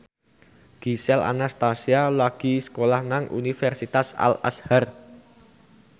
Gisel Anastasia lagi sekolah nang Universitas Al Azhar